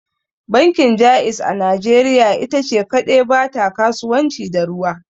Bankin Jaiz a najeriya ita ce kadai ba ta kasuwanci da ruwa.